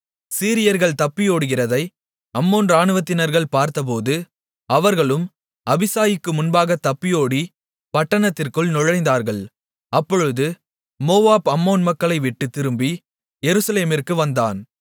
சீரியர்கள் தப்பியோடுகிறதை அம்மோன் இராணுவத்தினர்கள் பார்த்தபோது அவர்களும் அபிசாயிக்கு முன்பாக தப்பியோடிப் பட்டணத்திற்குள் நுழைந்தார்கள் அப்பொழுது யோவாப் அம்மோன் மக்களைவிட்டுத் திரும்பி எருசலேமிற்கு வந்தான்